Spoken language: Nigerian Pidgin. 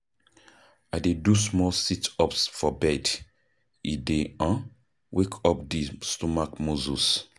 I dey do small sit-ups for bed, e dey um wake up di stomach muscles.